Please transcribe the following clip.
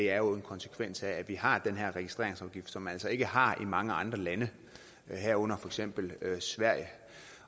er jo en konsekvens af at vi har den her registreringsafgift som man altså ikke har i mange andre lande herunder for eksempel sverige